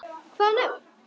Hvaða nöfn?